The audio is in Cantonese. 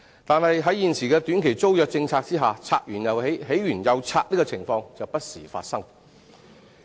但是，在現時的短期租約政策下，"拆完又起、起完又拆"的情況就不時發生。